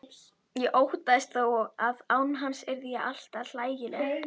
Ég óttaðist þó að án hans yrði ég alltaf hlægileg.